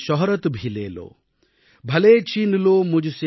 यह शौहरत भी ले लो